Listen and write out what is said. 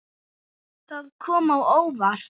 Það kom á óvart.